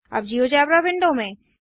अब GeoGebra window में